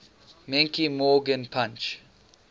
menke morgan punch